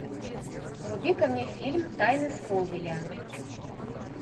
вруби ка мне фильм тайны смолвиля